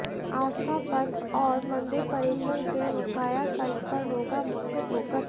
आस्था पथ और मंदिर परिसर के कायाकल्प पर होगा मुख्य फोकस